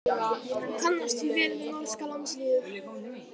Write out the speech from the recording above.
Hann kannast því vel við norska landsliðið.